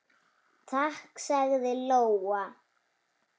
Takk, sagði Lóa.